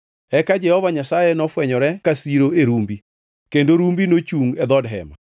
Eka Jehova Nyasaye nofwenyore ka siro e rumbi, kendo rumbi nochungʼ e dhood Hema.